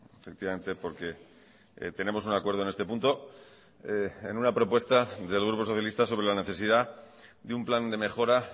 efectivamente porque tenemos un acuerdo en este punto en una propuesta del grupo socialista sobre la necesidad de un plan de mejora